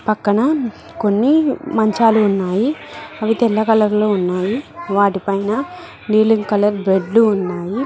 పక్కన కొన్ని మంచాలు ఉన్నాయి అవి తెల్ల కలర్ లో ఉన్నాయి వాటిపైన నీలిం కలర్ బెడ్డ్లు ఉన్నాయి.